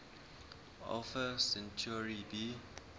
alpha centauri b